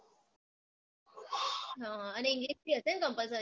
ઉહ અને english બી હશે ને compulsory માં તો